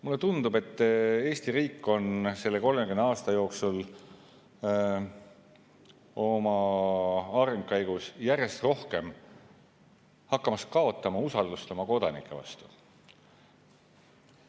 Mulle tundub, et Eesti riik on selle 30 aasta jooksul oma arengu käigus järjest rohkem hakanud kaotama usaldust oma kodanike vastu.